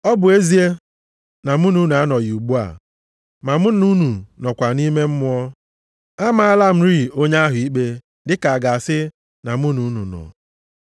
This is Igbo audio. Ọ bụ ezie na mụ na unu anọghị ugbu a, ma mụ na unu nọkwa nʼime mmụọ. Amaala m rịị onye ahụ ikpe dịka a ga-asị na mụ na unu nọ.